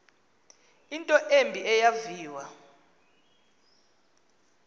into embi eyaviwa